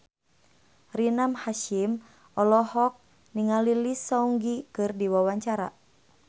Rina Hasyim olohok ningali Lee Seung Gi keur diwawancara